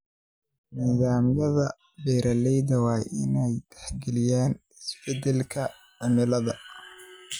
Nidaamyada beeraha waa inay tixgeliyaan isbedelada cimilada.